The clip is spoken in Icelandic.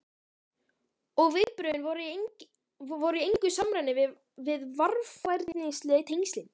Og viðbrögðin voru í engu samræmi við varfærnisleg tengslin.